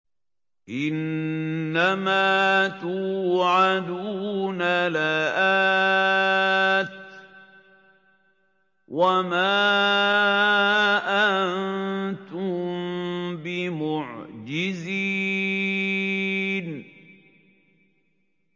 إِنَّ مَا تُوعَدُونَ لَآتٍ ۖ وَمَا أَنتُم بِمُعْجِزِينَ